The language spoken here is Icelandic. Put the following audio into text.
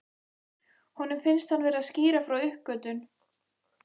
Honum finnst hann vera að skýra frá uppgötvun.